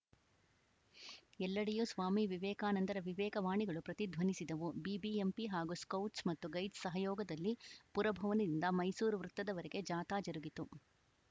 ಎಲ್ಲೆಡೆಯೂ ಸ್ವಾಮಿ ವಿವೇಕಾನಂದರ ವಿವೇಕ ವಾಣಿಗಳು ಪ್ರತಿಧ್ವನಿಸಿದವು ಬಿಬಿಎಂಪಿ ಹಾಗೂ ಸ್ಕೌಟ್ಸ್‌ ಮತ್ತು ಗೈಡ್ಸ್‌ ಸಹಯೋಗದಲ್ಲಿ ಪುರಭವನದಿಂದ ಮೈಸೂರು ವೃತ್ತದವರೆಗೆ ಜಾಥಾ ಜರುಗಿತು